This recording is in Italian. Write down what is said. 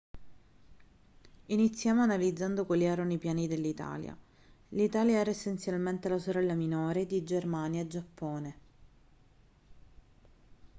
iniziamo analizzando quali erano i piani dell'italia l'italia era essenzialmente la sorella minore di germania e giappone